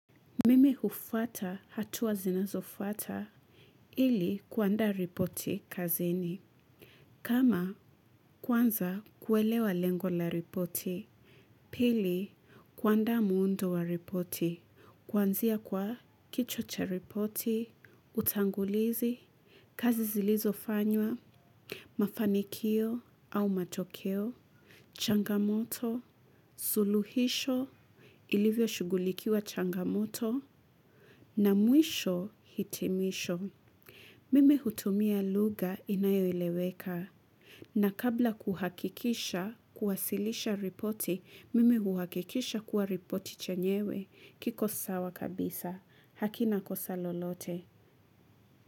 Mimi hufuata hatua zinazofuata ili kuanda ripoti kazini. Kama kwanza kuelewa lengo la ripoti, pili kuanda muundo wa ripoti. Kwanzia kwa kichwa cha ripoti utangulizi kazi zilizofanywa mafanikio au matokeo changamoto suluhisho ilivyoshugulikiwa changamoto. Na mwisho hitimisho. Mimi hutumia luga inayoeleweka. Na kabla kuhakikisha kuwasilisha ripoti, mimi huakikisha kuwa ripoti chenyewe kiko sawa kabisa. Hakina kosa lolote.